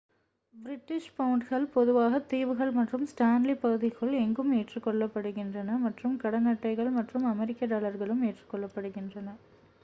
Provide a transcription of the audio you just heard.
British பவுண்டுகள் பொதுவாக தீவுகள் மற்றும் ஸ்டான்லி பகுதிக்குள் எங்கும் ஏற்றுக்கொள்ளப்படுகின்றன மற்றும் கடன் அட்டைகள் மற்றும் அமெரிக்க டாலர்களும் ஏற்றுக்கொள்ளப்படுகின்றன